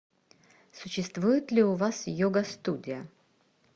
существует ли у вас йога студия